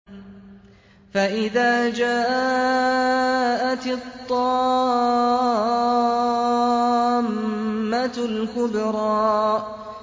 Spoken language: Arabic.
فَإِذَا جَاءَتِ الطَّامَّةُ الْكُبْرَىٰ